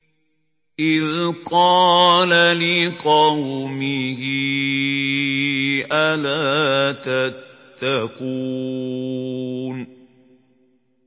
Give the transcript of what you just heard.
إِذْ قَالَ لِقَوْمِهِ أَلَا تَتَّقُونَ